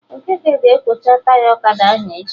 Okeke ga-ekwocha Taya ọkada ahụ echi